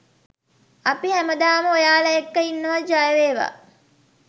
අපි හැමදාම ඔයාල එක්ක ඉන්නවා ජය වේවා.!